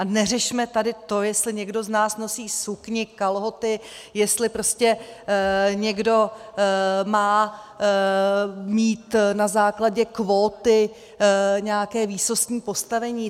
A neřešme tady to, jestli někdo z nás nosí sukni, kalhoty, jestli prostě někdo má mít na základě kvóty nějaké výsostné postavení.